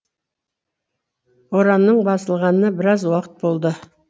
боранның басылғанына біраз уақыт болды